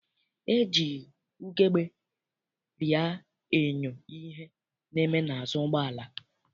E ji ugegbe rịa enyo ihe na-eme n'azụ ụgbọala.